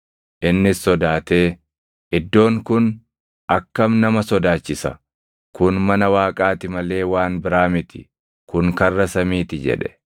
Innis sodaatee, “Iddoon kun akkam nama sodaachisa! Kun mana Waaqaa ti malee waan biraa miti; kun karra samiiti” jedhe.